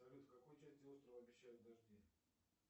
салют в какой части острова обещают дожди